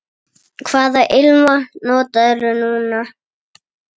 Hvaða ilmvatn notarðu núna?